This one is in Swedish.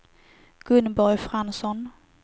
Gunborg Fransson